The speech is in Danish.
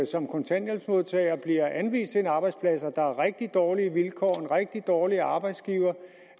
som kontanthjælpsmodtager bliver anvist en arbejdsplads og der er rigtig dårlige vilkår og en rigtig dårlig arbejdsgiver